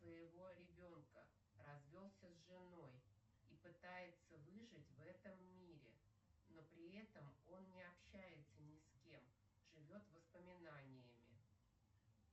своего ребенка развелся с женой и пытается выжить в этом мире но при этом он не общается ни с кем живет воспоминаниями